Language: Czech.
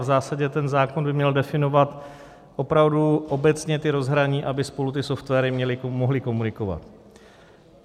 V zásadě ten zákon by měl definovat opravdu obecně ta rozhraní, aby spolu ty softwary mohly komunikovat.